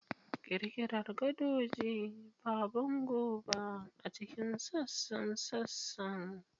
Ƙirƙirar gadoji, ba bango ba, a cikin sassan sassan.